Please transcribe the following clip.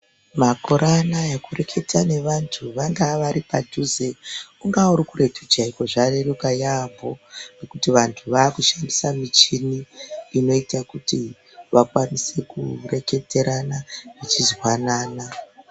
Makore anaya kureketa nevantu vangava vari padhuze, ungava uri kuretu chaiko zvareruka yaamho ngekuti vantu vakushandisa mishini inoite kuti vakwanise kureketerana vechizwanana.